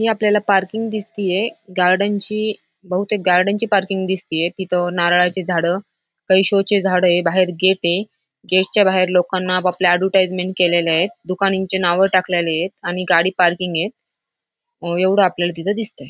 ही आपल्याला पार्किंग दिसतिये गार्डनची बहुतेक गार्डन ची पार्किंग दिसतिये तिथ नारळाची झाड काही शोचे झाड ये बाहेर गेट ये गेटच्या बाहेर लोकांना आपापल्या एडवर्टाइजमेंट केलेल्यात दुकानांची नावे टाकलेलिएत आणि गाडी पार्किंग ये एवढ आपल्याला तिथ दिसतय.